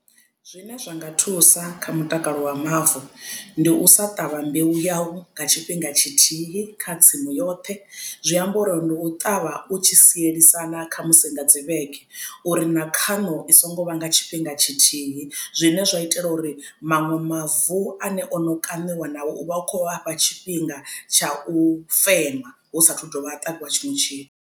Zwine zwa nga thusa kha mutakalo wa mavu ndi u sa ṱavha mbeu yau nga tshifhinga tshithihi kha tsimu yoṱhe zwi amba uri ndi u ṱavha u tshi sielisana khamusi nga dzi vhege uri na khaṋo i songo vha nga tshifhinga tshithihi zwine zwa itela uri maṅwe mavu ane ono kaṋiwa nao u vha u kho afha tshifhinga tsha u fema hu sathu dovha a takuwa tshiṅwe tshithu.